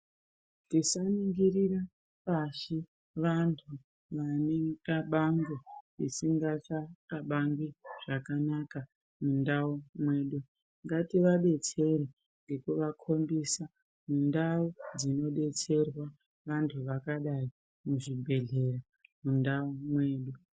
Tisaningirira pashi vantu vane mikabango isingachakabangi zvakanaka mundau mwedu. Ngativabetsere ngekuvakombisa mundau dzinobetserwa vantu vakadai muzvibhedhlera mundau mwedu.